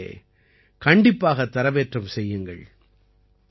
in இலே கண்டிப்பாகத் தரவேற்றம் செய்யுங்கள்